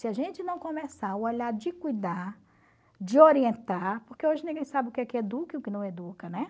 Se a gente não começar a olhar de cuidar, de orientar, porque hoje ninguém sabe o que é que educa e o que não educa, né?